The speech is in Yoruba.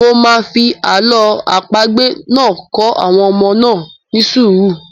Mo máa fi àlọ́ àpagbè náà kọ́ àwọn ọmọ náà ní sùúrù.